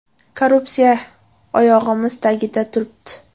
Korrupsiya oyog‘imiz tagida turibdi.